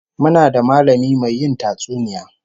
Muna da mallami mai yin tatsuniya